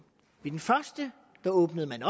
i den første åbnede man